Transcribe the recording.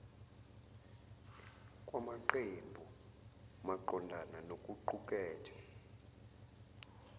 kwamaqembu maqondana nokuqukethwe